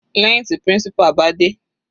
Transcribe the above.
Lẹ́hìn tí principal bá dé.